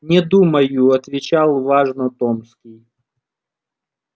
не думаю отвечал важно томский